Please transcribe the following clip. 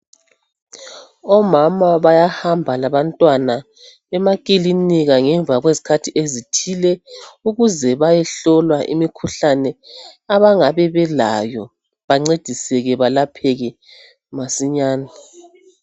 Omama bayahamba labantwana emakilinika ngemva kwezikhathi ezithile, ukuze bayehlolwa imikhuhlane abangabe belayo, bancediseke belapheke masinyane.